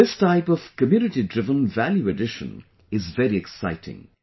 This type of Community Driven Value addition is very exciting